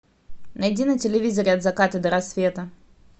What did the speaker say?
найди на телевизоре от заката до рассвета